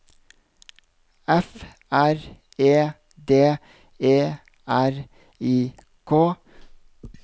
F R E D E R I K